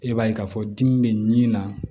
E b'a ye k'a fɔ dimi bɛ nin na